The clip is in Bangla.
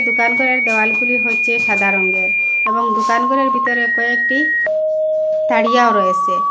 দোকান ঘরের দেওয়ালগুলি হচ্ছে সাদা রঙের এবং দোকান ঘরের ভিতরে কয়েকটি তারিয়াও রয়েছে।